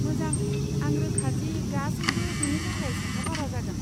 मोजां, आं रोखा दि गासैबो बेनि थाखाय साखाफारा जागोन।